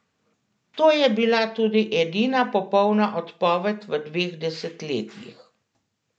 To je bila tudi edina popolna odpoved v dveh desetletjih.